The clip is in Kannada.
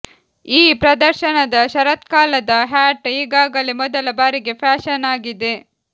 ಈ ಪ್ರದರ್ಶನದ ಶರತ್ಕಾಲದ ಹ್ಯಾಟ್ ಈಗಾಗಲೇ ಮೊದಲ ಬಾರಿಗೆ ಫ್ಯಾಶನ್ ಆಗಿದೆ